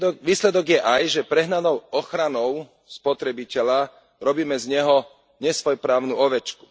Výsledok je aj, že prehnanou ochranou spotrebiteľa robíme z neho nesvojprávnu ovečku.